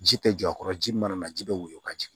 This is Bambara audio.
Ji tɛ jɔ a kɔrɔ ji mana na ji bɛ woyɔ ka jigin